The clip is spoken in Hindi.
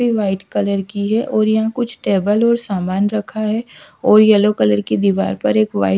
व्हाइट कलर की हैं और यहां कुछ टेबल और सामान रखा है और येलो कलर की दीवार पर एक व्हाइट --